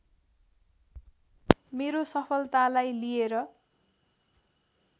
मेरो सफलतालाई लिएर